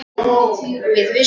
Við vissum ekki neitt.